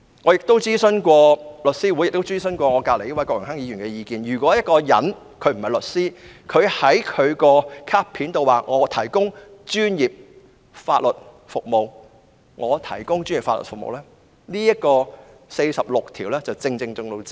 "我曾徵詢香港律師會及身旁的郭榮鏗議員的意見，任何人不是律師而在其卡片上表明可以"提供專業法律服務"，已經觸犯《法律執業者條例》第46條。